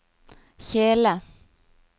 kjele